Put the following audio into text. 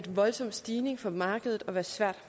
voldsom stigning for markedet og svær